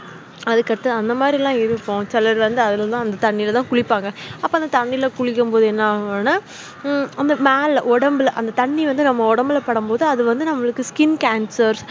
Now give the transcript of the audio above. அதுக்கு அடுத்து அந்த மாதிரிலாம் இறுகும் சில இதுலாம் அந்த தண்ணிலதான் குளிபாங்க அப்ப அந்த தண்ணிலகுளிக்கும்போது என்னாகுன அஹ் உம் மேலஒடம்புல தண்ணி வந்து நம்ம ஒடம்புல படும்போது skincancer